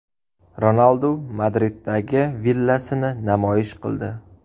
Ronaldu Madriddagi villasini namoyish qildi .